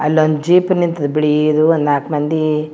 ಅಲ್ಲೊಂದ್ ಜೀಪ್ ನಿಂತಿದೆ ಬಿಳಿದು ಒಂದ್ ನಾಕ್ ಮಂದಿ.